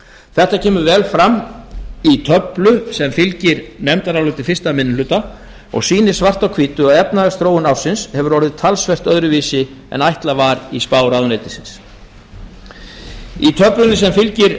þetta kemur vel fram í töflu sem fylgir nefndaráliti fyrsti minni hluta og sýnir svart á hvítu að efnahagsþróun ársins hefur orðið talsvert öðruvísi en ætlað var í spá ráðuneytisins í töflunni